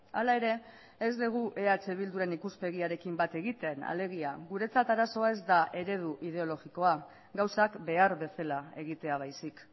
hala ere ez dugu eh bilduren ikuspegiarekin bat egiten alegia guretzat arazoa ez da eredu ideologikoa gauzak behar bezala egitea baizik